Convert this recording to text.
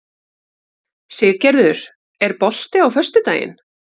Siggerður, er bolti á föstudaginn?